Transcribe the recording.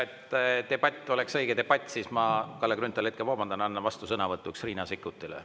Et debatt oleks õige debatt, siis ma, Kalle Grünthal, hetke vabandan, annan vastusõnavõtuks Riina Sikkutile.